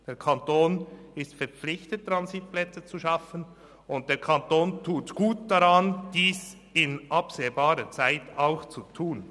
Der Kanton ist verpflichtet, Transitplätze zu schaffen, und der Kanton tut gut daran, dies in absehbarer Zeit auch zu tun.